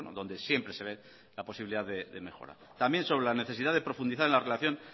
donde siempre se ve la posibilidad de mejorar también sobre la necesidad de profundizar en la relación